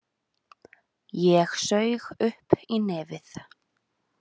Ég saug upp í nefið.